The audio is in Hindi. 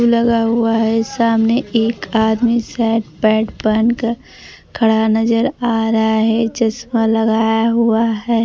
लगा हुआ है सामने एक आदमी शर्ट पैंट पहन कर खड़ा नजर आ रहा है चश्मा लगाया हुआ है।